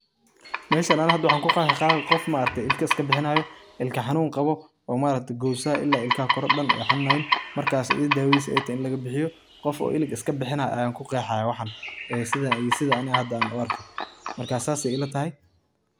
Meshan ani hada waxan kuqexa qoof ilka iskabixina, ilka xanun qabo, gowsa ila ilka koro dan ay xanunaya markas dawadisa ay tahay in laga bixiyo, qoof oo ilig iskabixinaya ayan kuqexaya waxan sidi ani hadan an u arko marka sidhas ay ila tahay.